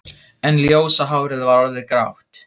En ljósa hárið var orðið grátt.